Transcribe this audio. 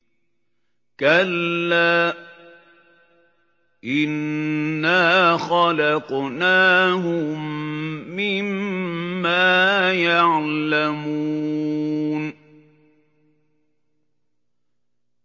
كَلَّا ۖ إِنَّا خَلَقْنَاهُم مِّمَّا يَعْلَمُونَ